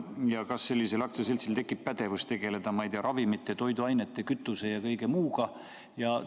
Ja kas sellistel aktsiaseltsidel tekib pädevus tegeleda, ma ei tea, ravimite, toiduainete, kütuse ja kõige muuga?